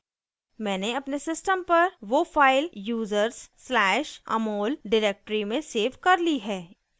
मैंने अपने सिस्टम पर वो फाइल users\amol डिरेक्टरी में सेव कर ली है